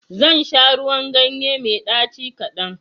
Zan sha ruwan ganye mai ɗaci kadan.